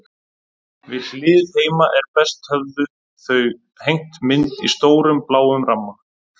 Við hlið heima er best höfðu þau hengt mynd í stórum, bláum ramma.